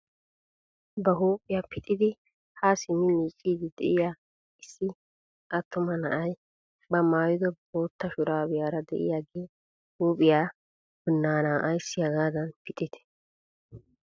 Ba huuphphiyaa pixidi ha simmi miicciidi de'iyaa issi attuma na'ay ba maayido bootta shuraabiyaara de'iyaagee huuphphiyaa binaanaa ayssi hagaadan pixidee?